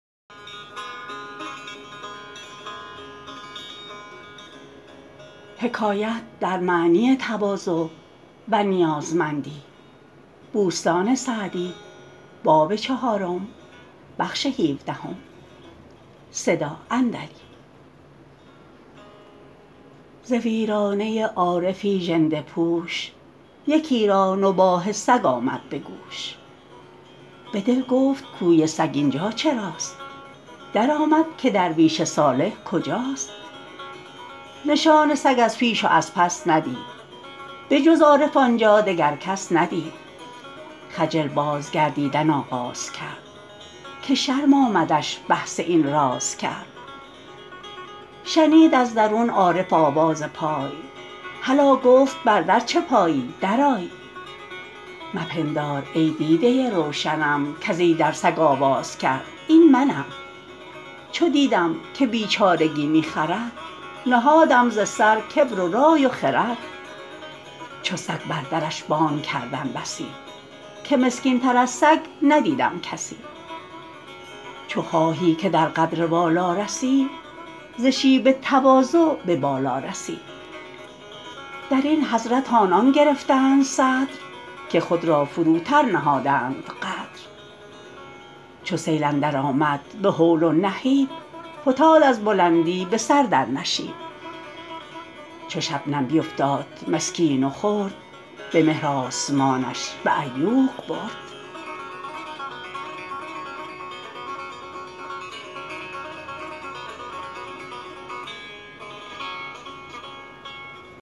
ز ویرانه عارفی ژنده پوش یکی را نباح سگ آمد به گوش به دل گفت گویی سگ اینجا چراست درآمد که درویش صالح کجاست نشان سگ از پیش و از پس ندید به جز عارف آنجا دگر کس ندید خجل باز گردیدن آغاز کرد که شرم آمدش بحث این راز کرد شنید از درون عارف آواز پای هلا گفت بر در چه پایی در آی مپندار ای دیده روشنم کز ایدر سگ آواز کرد این منم چو دیدم که بیچارگی می خرد نهادم ز سر کبر و رای و خرد چو سگ بر درش بانگ کردم بسی که مسکین تر از سگ ندیدم کسی چو خواهی که در قدر والا رسی ز شیب تواضع به بالا رسی در این حضرت آنان گرفتند صدر که خود را فروتر نهادند قدر چو سیل اندر آمد به هول و نهیب فتاد از بلندی به سر در نشیب چو شبنم بیفتاد مسکین و خرد به مهر آسمانش به عیوق برد